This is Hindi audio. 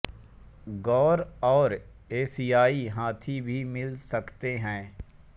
गौर और एशियाई हाथी भी मिल सकते हैं